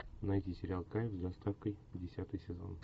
найти сериал кайф с доставкой десятый сезон